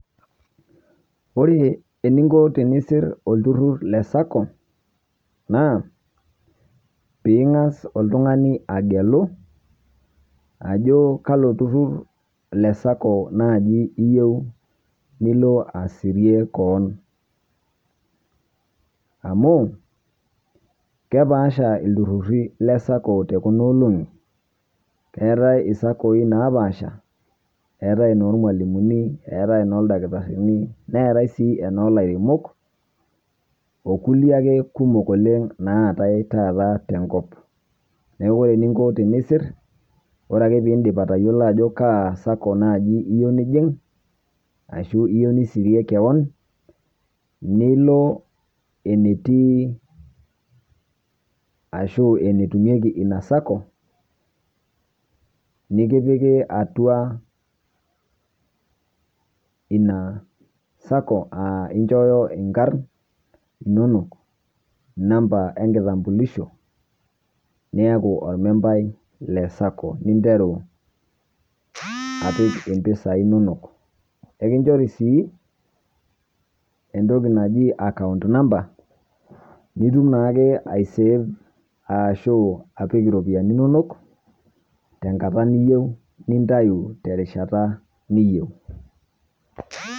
ore eningo tenisir olturur le sacco naa pee ingas oltingani agelu ajo kalo turur le sacco naaji iyieu nilo asirie koon amuu kepaasha iltururi le sacco te kuna olong'i, eetae inormwalimuni, eetae enooldakitarini netae sii enoolairemok o kulie ake kumok oleng naatae taata tenkop. neeku ore eningo tenisir, ore ake pee indip atayiolo ajo kaa sacco naaji iyieu nijing ashu iyieu nisirie kewan, nilo etii arashu enetumieki ina sacco nikipiki atua ina sacco aa inchooyo inkarn inonok namba enkitambulisho niyaku ormembai leina sacco, ninteru apik impisai inonok, ekinchori sii entoki naji account no nitum naake ai save arashu apik iropiyiani inonok tenkata niyieu, nintayu terishata niyieu.